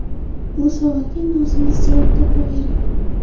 Bu savolga endi o‘zingiz javob topavering.